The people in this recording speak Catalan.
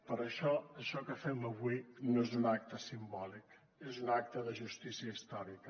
per això això que fem avui no és un acte simbòlic és un acte de justícia històrica